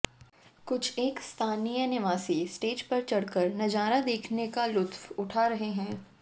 कुछेक स्थानीय निवासी स्टेज पर चढ़कर नजारा देखने का लुत्फ उठा रहे हैं